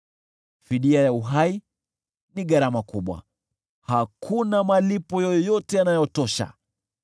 Fidia ya uhai ni gharama kubwa, hakuna malipo yoyote yanayotosha,